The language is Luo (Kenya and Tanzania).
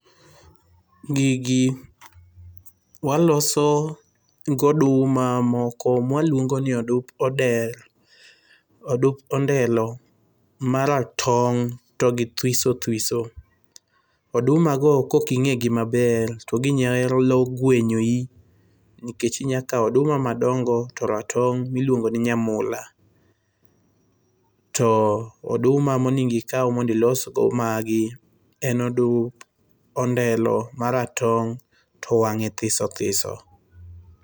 Gigi waloso gi oduma moko mwaluongo ni odup ondelo ma ratong' to githwiso thwiso. Oduma go kok ing'e gi maber to ginyalo gwenyi nikech inyalo kao oduma madongo to ratong' miluongo ni nyamula. To oduma monego ikaw mondo ilos go magi en odup ondelo ma ratong' to wang'e thiso thiso.